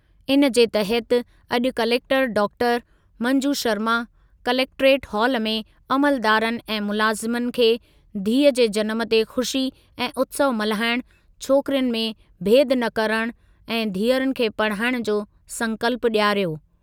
इन जे तहति अॼु collector doctor. Manju Sharma collectorate हालु में अमलदारनि ऐं मुलाज़िमनि खे धीअ जे जनमु ते ख़ुशी ऐं उत्सवु मल्हाइण, छोकिरियुनि में भेदु न करणु ऐं धीअरुनि खे पढ़ाइण जो संकल्पु ॾियारियो।